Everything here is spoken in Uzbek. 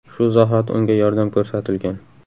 Shu zahoti unga yordam ko‘rsatilgan.